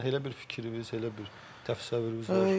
Yəni elə bir fikriniz, elə bir təsəvvürünüz var?